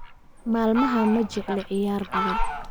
Maalmahan ma jecli ciyaar badan